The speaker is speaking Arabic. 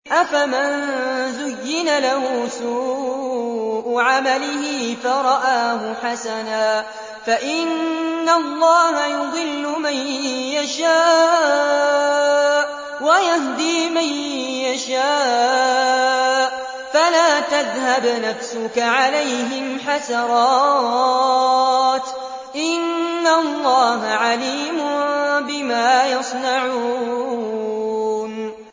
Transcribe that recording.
أَفَمَن زُيِّنَ لَهُ سُوءُ عَمَلِهِ فَرَآهُ حَسَنًا ۖ فَإِنَّ اللَّهَ يُضِلُّ مَن يَشَاءُ وَيَهْدِي مَن يَشَاءُ ۖ فَلَا تَذْهَبْ نَفْسُكَ عَلَيْهِمْ حَسَرَاتٍ ۚ إِنَّ اللَّهَ عَلِيمٌ بِمَا يَصْنَعُونَ